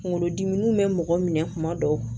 Kunkolodimiw bɛ mɔgɔ minɛ kuma dɔw